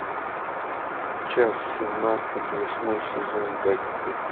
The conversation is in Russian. часть семнадцать восьмой сезон декстер